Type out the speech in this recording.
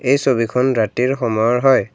এই ছবিখন ৰাতিৰ সময়ৰ হয়।